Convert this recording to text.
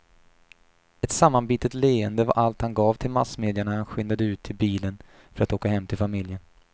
Ett sammanbitet leende var allt han gav till massmedia när han skyndade ut till bilen för att åka hem till familjen.